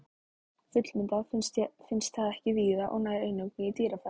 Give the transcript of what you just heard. Fullmyndað finnst það ekki víða og nær eingöngu í dýrafæðu.